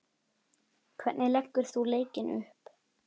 Hvernig leggur þú leikinn upp?